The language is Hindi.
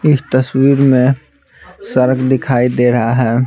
इस तस्वीर में सड़क दिखाई दे रहा है।